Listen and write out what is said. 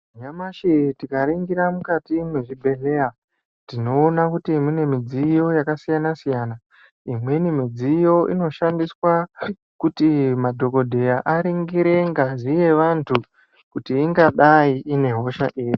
Nyamashi tikaringira mukati mwezvibhedhlera tinoona kuti mune mudziyo yakasiyana siyana imweni midziyo inoshandiswa kuti madhokodheya aringire ngazi yevantu kuti ingadai ine hosha iri.